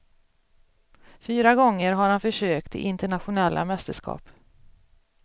Fyra gånger har han försökt i internationella mästerskap.